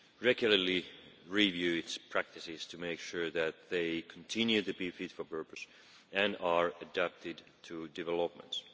regularly reviews its practices to make sure that they continue to be fit for purpose and are adapted to developments.